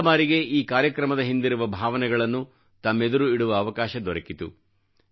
ಮೊದಲ ಬಾರಿಗೆ ಈ ಕಾರ್ಯಕ್ರಮದ ಹಿಂದಿರುವ ಭಾವನೆಗಳನ್ನು ತಮ್ಮೆದುರು ಇಡುವ ಅವಕಾಶ ದೊರಕಿತು